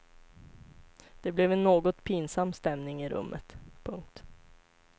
Det blev en något pinsam stämning i rummet. punkt